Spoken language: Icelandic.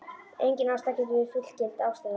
Engin ástæða getur verið fullgild ástæða.